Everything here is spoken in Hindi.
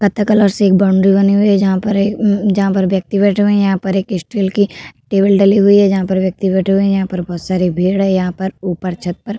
पत्ता कलर से एक बाउंड्री बनी हुई है जहाँ पर एक म्मम जहाँ पर व्यक्ति बैठे हुए हैं। यहाँ पर एक स्टील की टेबल डली हुई है जहाँ पर व्यक्ति बैठे हुए हैं। यहाँ पर बहोत सारी भीड़ हैं। यहाँ पर ऊपर छत पर --